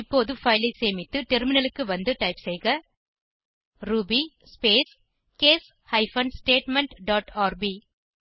இப்போது பைல் ஐ சேமித்து டெர்மினலுக்கு வந்து டைப் செய்க ruby space case hyphen statement dot RB